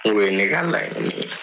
Ne ka laɲini ye.